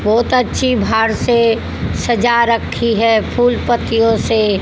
बहोत अच्छी भार से सजा रखी है फूल पत्तियों से--